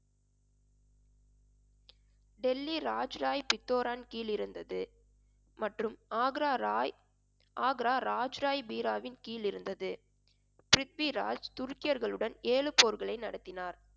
டெல்லி ராஜ் ராய் பித்தோரான் கீழிருந்தது. மற்றும் ஆக்ரா ராய் ஆக்ரா ராஜ் ராய் பீராவின் கீழ் இருந்தது. பிரித்விராஜ் துருக்கியர்களுடன் ஏழு போர்களை நடத்தினார்